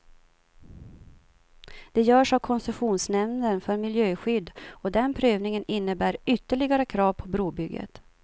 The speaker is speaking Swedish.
Det görs av koncessionsnämnden för miljöskydd, och den prövningen innebär ytterligare krav på brobygget.